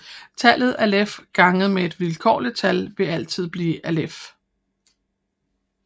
Tallet alef ganget med et vilkårligt tal vil altid blive alef